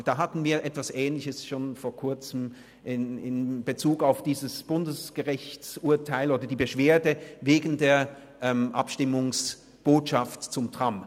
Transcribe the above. Vor Kurzem hatten wir etwas Ähnliches in Bezug auf dieses Bundesgerichtsurteil oder die Beschwerde wegen der Abstimmungsbotschaft zum Tram.